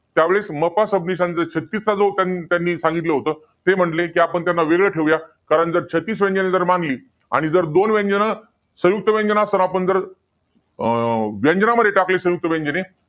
त्यावेळेस, म. पा. सबनीसांचा छत्तीस चा जो त्यांनी सांगितलं होतं. त्यावेळेस ते म्हणाले आपण त्यांना वेगळं ठेवूया. कारण जर छत्तीस व्यंजने मांडली, आणि दोन व्यंजनं, संयुक्त व्यंजन असताना जर आपण जर, अं व्यंजनामध्ये टाकली संयुक्त व्यंजने.